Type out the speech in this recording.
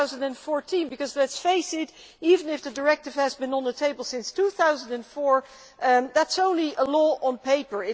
2014. Let's face it even if the directive has been on the table since 2004, it is only a law on paper.